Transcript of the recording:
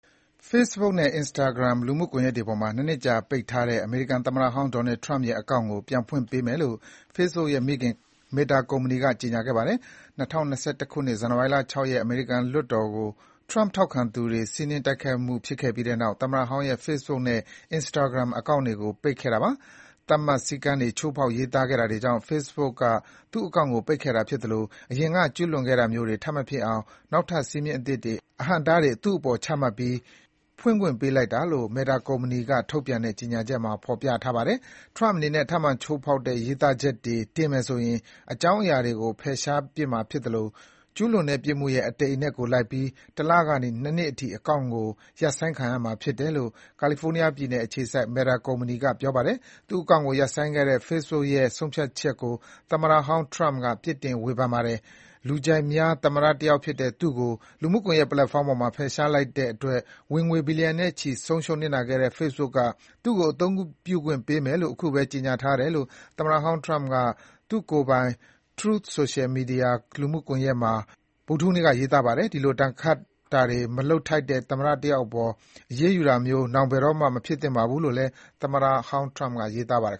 Facebook နဲ့ Instagram လူမှုကွန်ယက်တွေပေါ်မှာ ၂ နှစ်ကြာပိတ်ထားတဲ့ အမေရိကန်သမ္မတဟောင်း ဒေါ်နယ်ထရမ့်ပ် (Donald Trump) ရဲ့ အကောင့်ကို ပြန်ဖွင့်ပေးမယ်လို့ Facebook ရဲ့ မိခင် Meta ကုမ္မဏီက ကြေညာခဲ့ပါတယ်။ ၂၀၂၁ ခုနှစ် ဇန်နဝါရီလ ၆ ရက် အမေရိကန်လွှတ်တော်အပေါ် ထရမ့်ပ်ထောက်ခံသူတွေ စီးနင်းတိုက်ခိုက်မှုဖြစ်ခဲ့ပြီးနောက် သမ္မတဟောင်းရဲ့ Facebook နဲ့ Instagram အကောင့်တွေကို ပိတ်ပင်ခဲ့တာပါ။ သတ်မှတ် စည်းကမ်းတွေ ချိုးဖောက် ရေးသားခဲ့တာတွေကြောင့် Facebook က သူ့အကောင့်ကို ပိတ်ခဲ့တာဖြစ်သလို၊ အရင်က ကျုးလွန်ခဲ့တာမျိုးတွေ ထပ်မဖြစ်အောင် နောက်ထပ်စည်းမျဉ်းအသစ်တွေ၊ အဟန့်အတားတွေ သူ့အပေါ် ချမှတ်ပြီး ဖွင့်ခွင့်ပေးလိုက်တာလို့ Meta ထုတ်ပြန်တဲ့ ကြေညာချက်မှာ ဖော်ပြထားပါတယ်။ ထရမ့်ပ်အနေနဲ့ ထပ်မံ ချိုးဖောက်တဲ့ ရေးသားချက်တွေ တင်မယ်ဆိုရင် အကြောင်းအရာတွေကို ဖယ်ရှားမှာဖြစ်သလို ကျုးလွန်တဲ့ ပြစ်မှုရဲ့ အတိမ်အနက်ကိုလိုက်ပြီး တလကနေ ၂ နှစ်အထိ အကောင့်ကို ရပ်ဆိုင်းခံရမှာ ဖြစ်ပါတယ်လို့ ကယ်လီဖိုးနီးယားပြည်နယ်အခြေစိုက် Meta သူ့အကောင့်ကို ရပ်ဆိုင်းခဲ့တဲ့ Facebook ရဲ့ ဆုံးဖြတ်ချက်ကို သမ္မတဟောင်းထရမ့်ပ် ဝေဖန်ပြစ်တင်ပါတယ်။ လူကြိုက်များ သမ္မတတယောက်ဖြစ်တဲ့ သူ့ကို လူမှုကွန်ရက် ပလက်ဖောင်းပေါ်က ဖယ်ရှား လိုက်တဲ့အတွက် ဝင်ငွေ ဘီလျံနဲ့ချီ ဆုံးရှုံးနစ်နာခဲ့တဲ့ Facebook က သူ့ကို အသုံးပြုခွင့် ပေးမယ်လို့ အခုပဲ ကြေညာတယ်လို့ သမ္မတဟောင်းထရမ့်ပ်က သူ့ကိုယ်ပိုင် Truth Social လူမှုကွန်ယက်မှာ ဗုဒ္ဓဟူးနေ့က ရေးပါတယ်။ ဒီလို ဒဏ်ခတ်တာတွေ မလုပ်ထိုက်တဲ့ သမ္မတအယောက်အပေါ် အရေးယူတာမျိုး နောင်ဘယ်တော့မှ မဖြစ်သင့်ပါဘူးလို့လည်း သမ္မတဟောင်းထရမ့်ပ်က ရေးသားထားပါတယ်